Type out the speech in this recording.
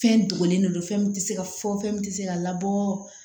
Fɛn dogolen de don fɛn min tɛ se ka fɔ fɛn min tɛ se ka labɔ